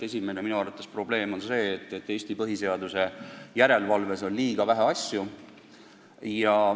Üks probleem on minu arvates see, et Eesti põhiseaduslikkuse järelevalves on käsitletud liiga vähe asju.